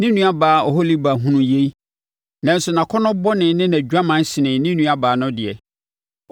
“Ne nuabaa Oholiba hunuu yei nanso nʼakɔnnɔ bɔne ne nʼadwaman senee ne nuabaa no deɛ.